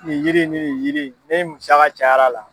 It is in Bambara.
Nin yiri ni nin yiri in ne musaka cayara la.